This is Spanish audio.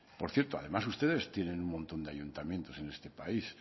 por cierto además ustedes tienen un montón de ayuntamientos en este país